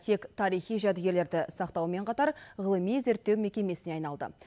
тек тарихи жәдігерлерді сақтаумен қатар ғылыми зерттеу мекемесіне айналды